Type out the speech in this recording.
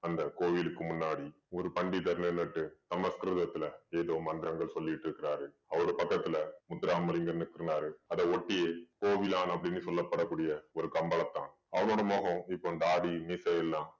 அந்த கோவிலுக்கு முன்னாடி ஒரு பண்டிதர்களை நட்டு சமஸ்கிருதத்திலே ஏதோ மந்திரங்கள் சொல்லிட்டு இருக்கிறாரு அவரு பக்கத்துல முத்துராமலிங்கன்னு சொன்னாரு அத ஒட்டியே கோவிலான் அப்படின்னு சொல்லப்படக்கூடிய ஒரு கம்பளத்தான் அவனோட முகம் இப்ப தாடி மீசை எல்லாம்